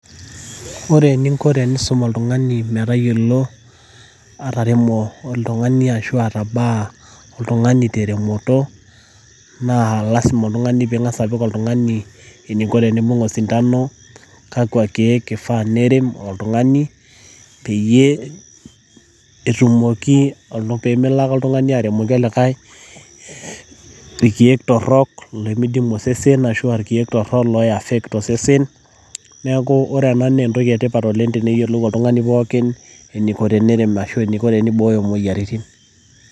ore eningo pee isum oltung'ani eniko pee eremisho ashu ebakisho naa ing'as aliki eniko teneibung osintano naa kakwa keek ifaa nicho, pee melo ake arem iltorok limidimu osesen ashu lo affect osesen lo tung'ani.